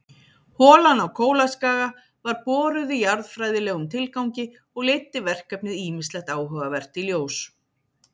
Holan á Kólaskaga var boruð í jarðfræðilegum tilgangi og leiddi verkefnið ýmislegt áhugavert í ljós.